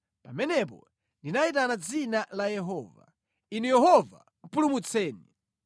Pamenepo ndinayitana dzina la Yehova: “Inu Yehova, pulumutseni!”